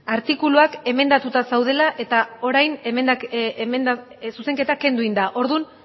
artikuluak emendatuta zeudela eta orain zuzenketa kendu egin da orduan